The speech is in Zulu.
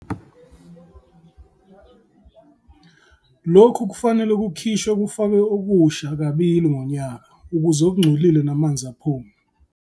Lokhu kufanele kukhishwe kufakwe okusha kabili ngonyaka ukuze okungcolile namanzi aphume.